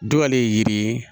Dɔ ale ye yiri ye